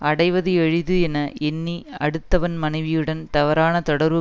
அடைவது எளிது என எண்ணி அடுத்தவன் மனைவியுடன் தவறான தொடர்பு